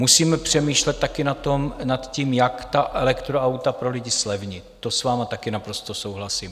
Musíme přemýšlet také nad tím, jak ta elektroauta pro lidi zlevnit, to s vámi taky naprosto souhlasím.